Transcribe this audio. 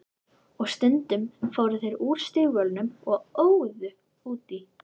Og stundum fóru þeir úr stígvélunum og óðu út í.